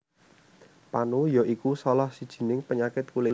Panu ya iku salah sijining penyakit kulit